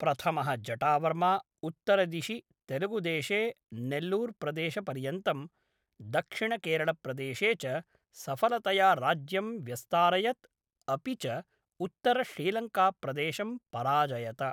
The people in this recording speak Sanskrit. प्रथमः जटावर्मा, उत्तरदिशि तेलुगुदेशे नेल्लूर्प्रदेशपर्यन्तं, दक्षिणकेरळप्रदेशे च सफलतया राज्यं व्यस्तारयत् अपि च उत्तरश्रीलङ्काप्रदेशं पराजयत।